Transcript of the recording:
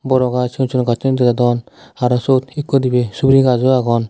boro gaj cigon cigon gassun degajadon aro sot ekku dibay subori gaj o agon.